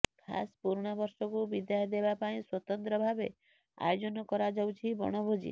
ଖାସ୍ ପୁରୁଣା ବର୍ଷକୁ ବିଦାୟ ଦେବା ପାଇଁ ସ୍ୱତନ୍ତ୍ର ଭାବେ ଆୟୋଜନ କରାଯାଉଛି ବଣଭୋଜି